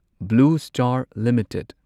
blue star limited